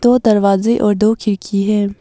दो दरवाजे और दो खिड़की है।